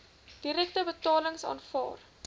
direkte betalings aanvaar